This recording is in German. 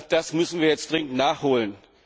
Das müssen wir jetzt dringend nachholen.